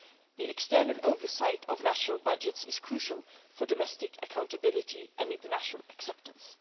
The external oversight of national budgets is crucial for domestic accountability and international acceptance.